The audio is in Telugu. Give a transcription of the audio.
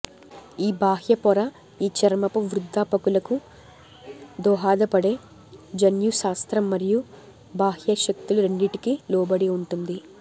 ఈ బాహ్య పొర ఈ చర్మపు వృద్ధాపకులకు దోహదపడే జన్యుశాస్త్రం మరియు బాహ్య శక్తులు రెండింటికి లోబడి ఉంటుంది